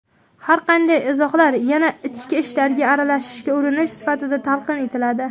har qanday izohlar yana "ichki ishlarga aralashishga urinish" sifatida talqin etiladi.